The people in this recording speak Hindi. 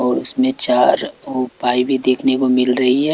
और उसमे चार उपाय भी देखने को मिल रही है।